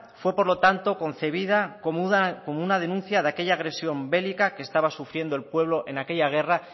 fue por lo tanto concebida como una denuncia de aquella agresión bélica que estaba sufriendo el pueblo en aquella guerra